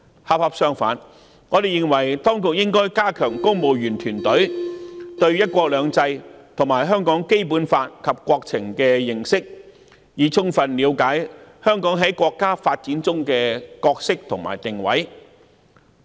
恰恰相反，我們認為當局應該加強公務員團隊對"一國兩制"、《基本法》及國情的認識，以充分了解香港在國家發展的角色和定位。